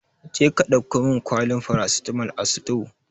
Jeka ɗauko min kwalin farasitamol a sutore!